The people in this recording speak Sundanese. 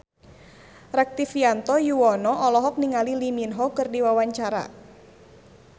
Rektivianto Yoewono olohok ningali Lee Min Ho keur diwawancara